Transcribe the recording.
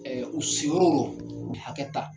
Ɛɛ u si yɔrɔw rɔ k'u hakɛ ta.